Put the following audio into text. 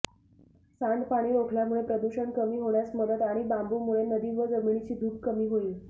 सांडपाणी रोखल्यामुळे प्रदूषण कमी होण्यास मदत आणि बांबंूमुळे नदी व जमिनीची धूप कमी होईल